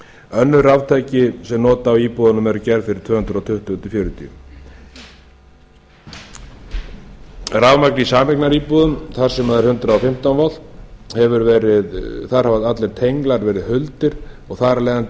önnur raftæki sem nota á í íbúðunum eru gerð fyrir tvö hundruð tuttugu til tvö hundruð fjörutíu rafmagn í sameignaríbúðum þar sem er hundrað og fimmtán þar hafa allir tenglar verið huldir og þar af leiðandi